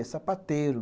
É sapateiro.